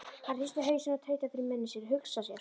Hann hristi hausinn og tautaði fyrir munni sér: Hugsa sér.